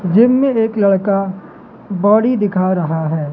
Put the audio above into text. Gym में एक लड़का बॉडी दिखा रहा है।